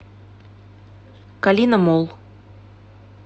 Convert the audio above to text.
калина молл